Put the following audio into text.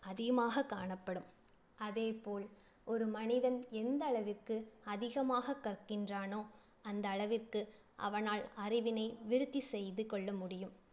அதிகமாகக் காணப்படும். அதே போல் ஒரு மனிதன் எந்தளவிற்கு அதிகமாகக் கற்கின்றானோ அந்தளவிற்கு அவனால் அறிவினை விருத்தி செய்து கொள்ள முடியும்.